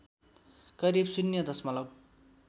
करिब शून्य दशमलव